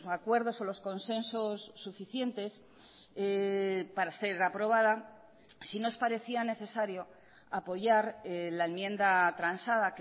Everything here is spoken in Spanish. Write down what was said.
acuerdos o los consensos suficientes para ser aprobada sí nos parecía necesario apoyar la enmienda transada